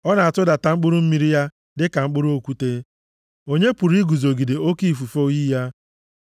Ọ na-atụdata mkpụrụ mmiri ya dị ka mkpụrụ okwute. Onye pụrụ iguzogide oke ifufe oyi ya?